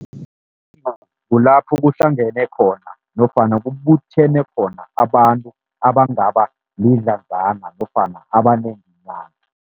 kulapho kuhlangene khona nofana kubuthene khona abantu, abangaba lidlazana nofana abanenganyana.